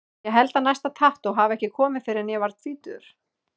Ég held að næsta tattú hafi ekki komið fyrr en ég var tvítugur.